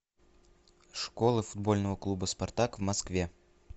школа футбольного клуба спартак в москве